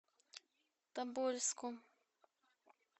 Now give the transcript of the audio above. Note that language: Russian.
тобольску